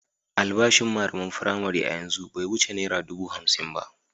Albashin malaman firamare a yanzu bai wuce naira dubu hamsin ba.